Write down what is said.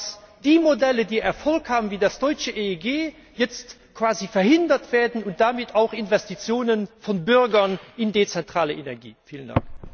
Dass die Modelle, die Erfolg haben, wie das deutsche EEG, jetzt quasi verhindert werden, und damit auch Investitionen von Bürgern in dezentrale Energie verhindert werden?